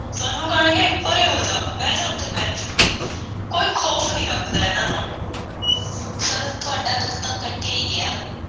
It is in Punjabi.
ਸਾਨੂੰ ਕਹਿਣਗੇ- ਪਰੇ ਹੋ ਜਾਹ, ਬਹਿ ਜਾ ਉੱਥੇ bench ਉੱਤੇ। ਕੋਈ ਖ਼ੌਫ਼ ਨਹੀਂ ਰੱਬ ਦਾ ਇਹਨਾਂ ਨੂੰ। ਚੱਲ, ਤੁਹਾਡਾ ਦੁੱਖ ਤਾਂ ਕੱਟਿਆ ਈ ਗਿਐ।